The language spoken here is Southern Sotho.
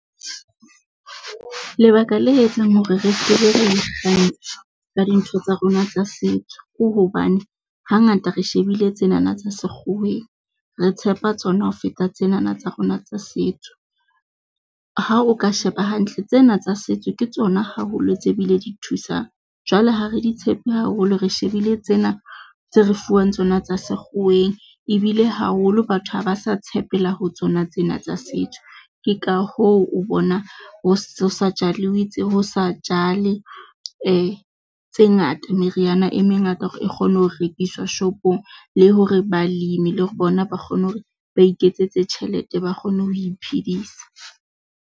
Lebaka le etsang hore re skebe ra ikgantsha ka dintho tsa rona tsa setso ke hobane. Hangata re shebile tsena tsa sekgoweng. Re tshepa tsona ho feta tsenana tsa rona tsa setso. Ha o ka sheba hantle, tsena tsa setso ke tsona haholo tse bile di thusang jwale, ha re di tshepe haholo, re shebile tsena tse re fuwang tsona tsa sekgoweng ebile haholo batho ha ba sa tshepela ho tsona tsena tsa setso ke ka hoo o bona ho sa ho sa jale tse ngata meriana e mengata hore e kgone ho rekiswa shopong le hore balemi le hore bona ba kgone hore ba iketsetse tjhelete, ba kgone ho iphedisa.